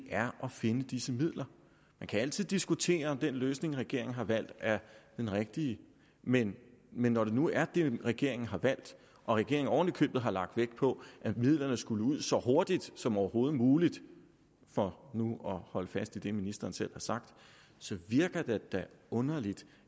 er at finde disse midler man kan altid diskutere om den løsning regeringen har valgt er den rigtige men men når det nu er den regeringen har valgt og regeringen oven i købet har lagt vægt på at midlerne skulle ud så hurtigt som overhovedet muligt for nu at holde fast i det ministeren selv har sagt så virker det da underligt